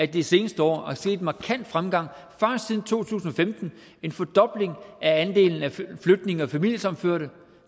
de seneste år har set en markant fremgang bare siden to tusind og femten en fordobling af andelen af flygtninge og familiesammenførte